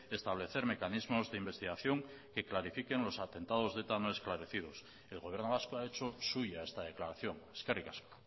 establecer mecanismos de investigación que clarifiquen los atentados de eta no esclarecidos el gobierno vasco ha hecho suya esta declaración eskerrik asko